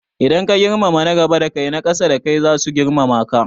Idan ka girmama na gaba da kai, na ƙasa da kai zasu girmama ka.